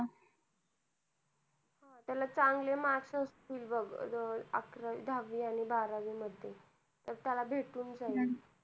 त्याला चांगले mark असतील बघ दहावी आणि बारावी मध्ये तर त्याला भेटून जाईल.